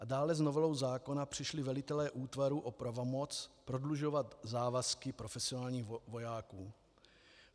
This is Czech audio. A dále s novelou zákona přišli velitelé útvarů o pravomoc prodlužovat závazky profesionálních vojáků.